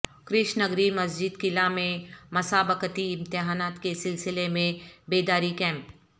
کرشنگری مسجد قلعہ میں مسابقتی امتحانات کے سلسلہ میں بیداری کیمپ